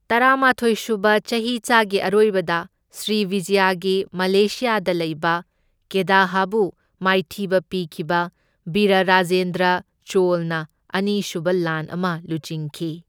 ꯇꯔꯥꯃꯥꯊꯣꯢ ꯁꯨꯕ ꯆꯍꯤꯆꯥꯒꯤ ꯑꯔꯣꯏꯕꯗ ꯁ꯭ꯔꯤꯕꯤꯖꯌꯒꯤ ꯃꯂꯦꯁꯤꯌꯥꯗ ꯂꯩꯕ ꯀꯦꯗꯥꯍꯕꯨ ꯃꯥꯏꯊꯤꯕ ꯄꯤꯈꯤꯕ ꯕꯤꯔꯥꯔꯥꯖꯦꯟꯗ꯭ꯔ ꯆꯣꯜꯅ ꯑꯅꯤꯁꯨꯕ ꯂꯥꯟ ꯑꯃ ꯂꯨꯆꯤꯡꯈꯤ꯫